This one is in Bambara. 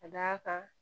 Ka d'a kan